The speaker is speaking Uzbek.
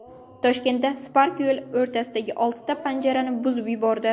Toshkentda Spark yo‘l o‘rtasidagi oltita panjarani buzib yubordi.